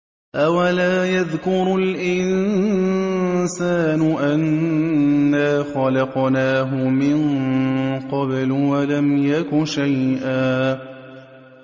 أَوَلَا يَذْكُرُ الْإِنسَانُ أَنَّا خَلَقْنَاهُ مِن قَبْلُ وَلَمْ يَكُ شَيْئًا